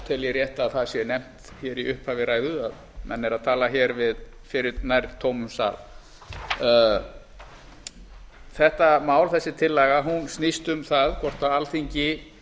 tel ég rétt að það sé nefnt hér í upphafi ræðu að menn eru að tala hér fyrir nær tómum sal þessi tillaga snýst um það hvort alþingi